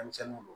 Denmisɛnninw